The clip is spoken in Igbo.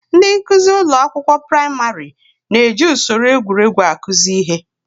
Ndị nkuzi ụlọ akwụkwọ praịmarị na-eji usoro egwuregwu akụzi ihe.